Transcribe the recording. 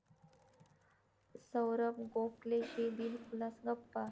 साैरभ गोखलेशी दिलखुलास गप्पा